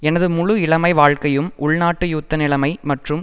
எனது முழு இளமை வாழ்க்கையும் உள்நாட்டு யுத்த நிலமை மற்றும்